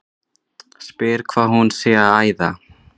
Spyr hvað hún sé að æða.